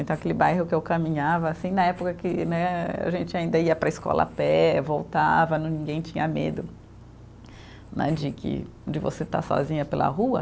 Então, aquele bairro que eu caminhava assim, na época que né a gente ainda ia para a escola a pé, voltava né, ninguém tinha medo né de que, de você estar sozinha pela rua.